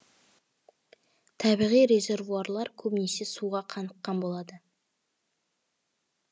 табиғи резервуарлар көбінесе суға қаныкқан болады